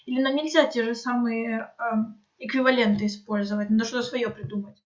или нам нельзя те же самые эквиваленты использовать надо что-то своё придумать